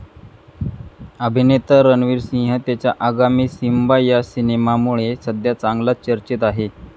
अभिनेता रणवीर सिंह त्याच्या आगामी सिम्बा या सिनेमामुळे सध्या चांगलाच चर्चेत आहे.